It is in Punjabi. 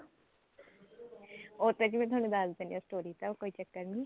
ਉਹ ਤਾਂ ਜੀ ਮੈਂ ਤੁਹਾਨੂੰ ਦੱਸ ਦੇਣੀ ਆ story ਦਾ ਕੋਈ ਚੱਕਰ ਨੀ